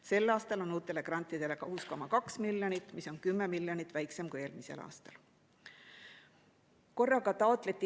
Sel aastal on uutele grantidele 6,2 miljonit, mida on 10 miljonit vähem kui eelmisel aastal.